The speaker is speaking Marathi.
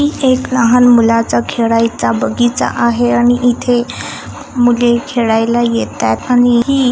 ही एक लहान मुलाचा खेळायचा बगीचा आहे आणि इथे मुले खेळायला येतात आणि ही --